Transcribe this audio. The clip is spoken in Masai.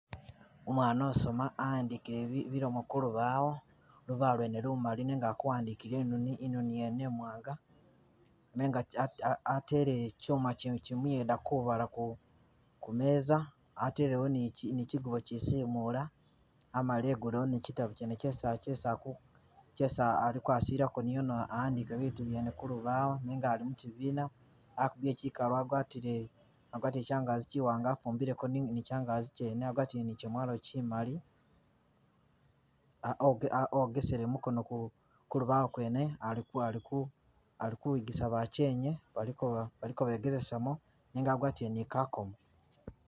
Umwana usoma awandikile bilomo kulubawo, lubaawo lwene lumali nenga ali kuwandikila inoni, inoni ngene iwanga nenga a a atele chuma chino ichimuyeda kubaala ku kumeza atelewo ne chi chigubo ichisimula amala egulewo ne chitabo chene chesi chesi aku, chesi alikusileku amale awandike bituu byene kulubawo nenga ali mukibiina akubile chikalu agwatile , agwatie chngazi chiwanga afumbileko ni changazi chene, agwatileko ne gyemwalo chimali a ogesele mukono ku kulubawo kwene aliku aliku alikuyigisa bachenye baliko balikobegelesamo nenga agwatile ne kakomo.